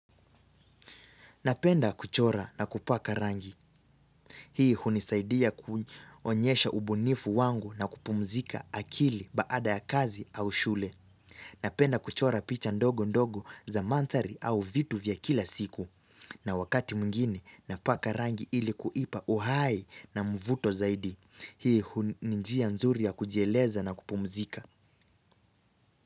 Napenda kuchora na kupaka rangi. Hii hunisaidia kuonyesha ubunifu wangu na kupumzika akili baada ya kazi au shule. Napenda kuchora picha ndogo ndogo za mantari au vitu vya kila siku. Na wakati mgini napaka rangi ilikuipa uhai na mvuto zaidi. Hii hunijia nzuri ya kujieleza na kupumzika.